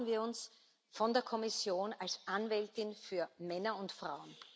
Das erwarten wir uns von der Kommission als Anwältin für Männer und Frauen.